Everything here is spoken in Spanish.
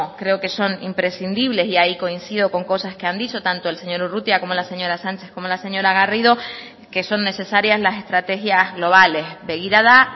creo que son imprescindibles y ahí coincido con cosas que han dicho tanto el señor urrutia como la señora sánchez como la señora garrido que son necesarias las estrategias globales begirada